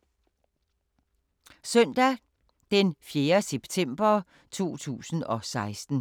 Søndag d. 4. september 2016